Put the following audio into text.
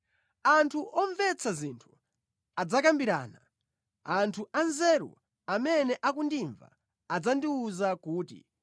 “Anthu omvetsa zinthu adzakambirana, anthu anzeru amene akundimva adzandiwuza kuti,